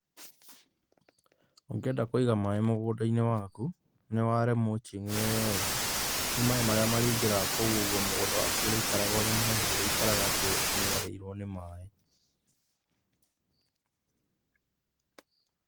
Ũngĩenda kũiga maĩ mũgũnda-inĩ waku ni ware mulching wega, rĩu maĩ marĩa marĩingira kũu ũguo mũgũnda waku ũrĩikaraga wĩ mũhehu ndũrĩikaraga ati uniarĩirwo nĩ maĩ.